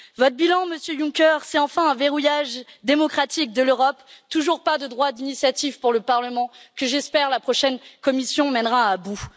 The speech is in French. Votre bilan, Monsieur Juncker, c'est enfin un verrouillage démocratique de l'Europe, toujours pas de droit d'initiative pour le Parlement, que j'espère la prochaine Commission mènera à bout.